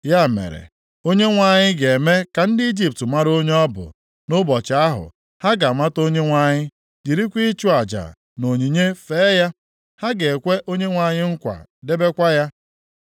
Ya mere, Onyenwe anyị ga-eme ka ndị Ijipt mara onye ọ bụ, nʼụbọchị ahụ, ha ga-amata Onyenwe anyị, jirikwa ịchụ aja na onyinye fee ya. Ha ga-ekwe Onyenwe anyị nkwa debekwa ya.